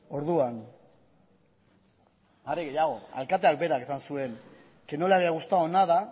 orduan are gehiago alkateak berak esan zuen que no le había gustado nada